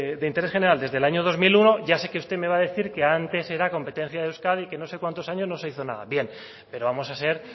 de interés general desde el año dos mil uno ya sé que usted me va a decir que antes era competencia de euskadi que en no sé cuántos años no se hizo nada pero vamos a ser